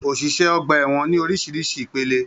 Oṣiṣẹ ọgbà ẹwọn ní orísirísi ìpele.